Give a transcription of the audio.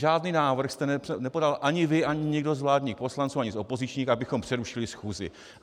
Žádný návrh jste nepodal ani vy ani nikdo z vládních poslanců ani z opozičních, abychom přerušili schůzi.